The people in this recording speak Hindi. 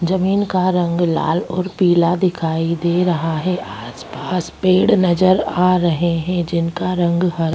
जमीन का रंग लाल और पीला दिखाई दे रहा है आसपास पेड़ नज़र आ रहे है जिनका रंग हरा --